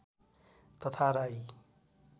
तथा राई